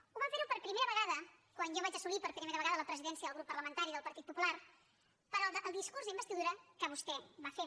ho vam fer per primera vegada quan jo vaig assolir per primera vegada la presidència del grup parlamentari del partit popular pel discurs d’investidura que vostè va fer